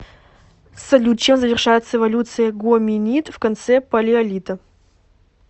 салют чем завершается эволюция гоминид в конце палеолита